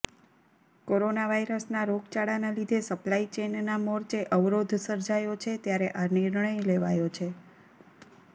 corona વાઇરસના રોગચાળાના લીધે સપ્લાય ચેઇનના મોરચે અવરોધ સર્જાયો છે ત્યારે આ નિર્ણય લેવાયો છે